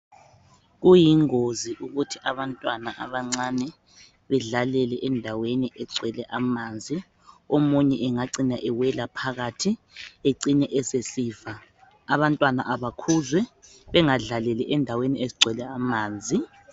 Kuyingozi ukuthi abantwana abancane bedlalele endaweni egcwele amanzi omunye angacina ewela phakathi ecine esesifa abantwana abakhuzwe bengadlaleli endaweni ezigcwele amanzi.